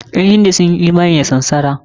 Ƴan hindu sun yi imani da samsara.